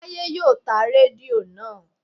Táyé yóò ta rédíò naa